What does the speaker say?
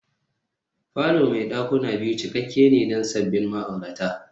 falo mai dakuna biyu cikakke ne don sabbin ma'aurata